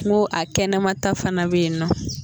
NKo a kɛnɛmata fana bɛ yen n nɔ.